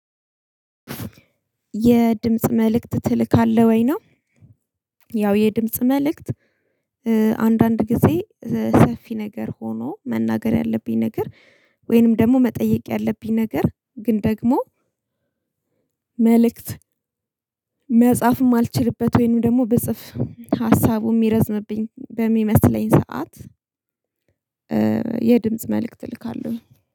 የድምጽ መልእክት ትልካለህ ወይ ነው? ያው የድምጽ መልእክት አንዳንድ ጊዜ ሰፊ ነገር ሆኖ መናገር ያለብኝ ነገር። ወይንም ደሞ መጠየቅ ያለብኝ ነገር ግን ደግሞ። መልእክት መጻፍ አማልችልበት ወይንም ደሞ ብጽፍ ሀሳቡ እሚረዝምብኝ በሚመስለኝ ሰዓት። የድምጽ መልእክት እልካለሁ።